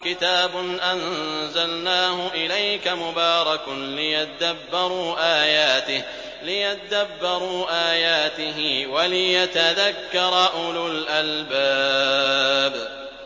كِتَابٌ أَنزَلْنَاهُ إِلَيْكَ مُبَارَكٌ لِّيَدَّبَّرُوا آيَاتِهِ وَلِيَتَذَكَّرَ أُولُو الْأَلْبَابِ